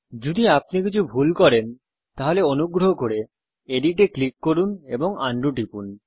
যদি আপনি কিছু ভুল করেন তাহলে অনুগ্রহ করে এডিট এ ক্লিক করুন এবং আনডু টিপুন